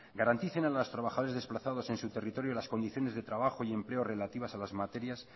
garanticen a los trabajadores desplazados en su territorio las condiciones de trabajo y empleo relativas a las materias